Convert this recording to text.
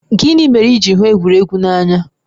Gịnị mere i ji hụ egwuregwu n'anya?